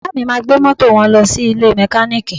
Bàbá mi máa gbé mọ́tò wọn lọ sí ilé mẹkáníìkì